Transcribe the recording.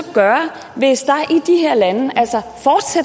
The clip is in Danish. gøre hvis